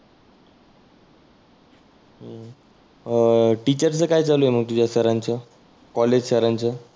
अं teacher चं काय चालु आहे मग तुझ्या सर चं, कॉलेज सर चं.